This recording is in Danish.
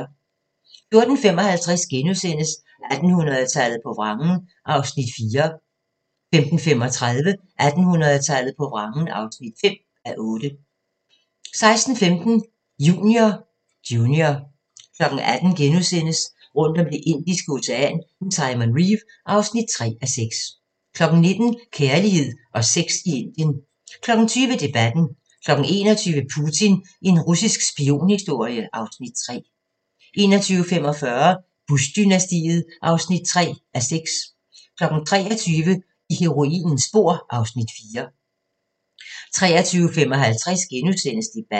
14:55: 1800-tallet på vrangen (4:8)* 15:35: 1800-tallet på vrangen (5:8) 16:15: Junior 18:00: Rundt om Det indiske Ocean med Simon Reeve (3:6)* 19:00: Kærlighed og sex i Indien 20:00: Debatten 21:00: Putin – en russisk spionhistorie (Afs. 3) 21:45: Bush-dynastiet (3:6) 23:00: I heroinens spor (Afs. 4) 23:55: Debatten *